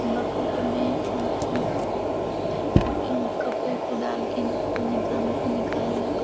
bucket में कपड़े को डाल के निकाल निकाला--